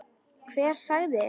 Hver sagði þér þetta?